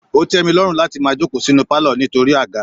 Ó tẹ mi lọ́run láti máa jókòó sínú palo nítorí àga.